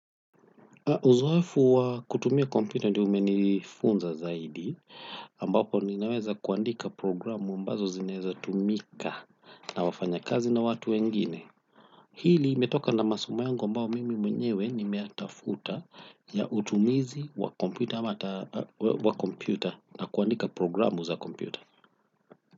Uzoefu wa kutumia kompyuta ndio umenifunza zaidi ambapo ninaweza kuandika programu ambazo zinaeza tumika na wafanyakazi na watu wengine. Hili imetoka na masomo yangu ambao mimi mwenyewe nimeyatafuta ya utumizi wa kompyuta na kuandika programu za kompyuta.